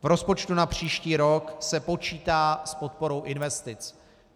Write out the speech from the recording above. V rozpočtu na příští rok se počítá s podporou investic.